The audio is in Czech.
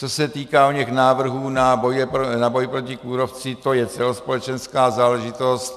Co se týká oněch návrhů na boj proti kůrovci, to je celospolečenská záležitost.